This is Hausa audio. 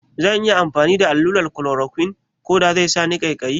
Zan iya yin allurar klorokwin koda sai sani ƙaikayi?